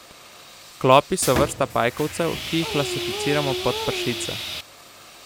Klopi so vrsta pajkovcev, ki jih klasificiramo pod pršice.